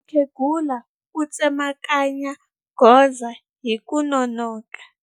Mukhegula u tsemakanya gondzo hi ku nonoka.